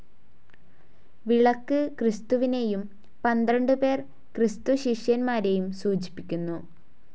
വിളക്ക് ക്രിസ്തുവിനേയും പന്ത്രണ്ടുപേർ ക്രിസ്തുശിഷ്യന്മാരേയും സൂചിപ്പിക്കുന്നു.